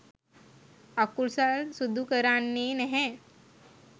අකුසල් සිදු කරන්නේ නැහැ.